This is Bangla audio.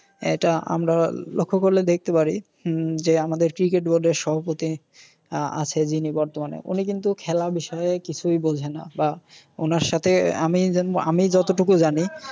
এটা আমরা লক্ষ্য করলে দেখতে পারি হম যে আমাদের ক্রিকেট বোর্ডের সভাপতি আছে যিনি বর্তমানে উনি কিন্তু খেলা বিষয়ে কিছুই বোঝে না। ওনার সাথে আমি, আমি যতটুকু জানি